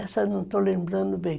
Essa não estou lembrando bem.